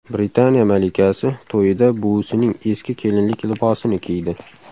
Britaniya malikasi to‘yida buvisining eski kelinlik libosini kiydi .